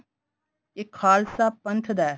ਇਹ ਖਾਲਸਾ ਪੰਥ ਦਾ